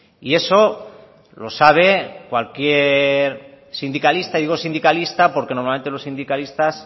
y eso lo sabe cualquier sindicalista digo sindicalista porque normalmente los sindicalistas